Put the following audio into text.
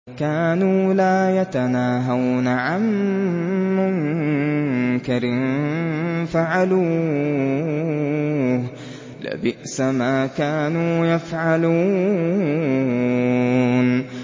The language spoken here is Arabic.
كَانُوا لَا يَتَنَاهَوْنَ عَن مُّنكَرٍ فَعَلُوهُ ۚ لَبِئْسَ مَا كَانُوا يَفْعَلُونَ